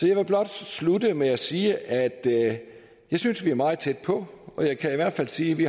jeg vil blot slutte med at sige at jeg synes vi er meget tæt på og jeg kan hvert fald sige at vi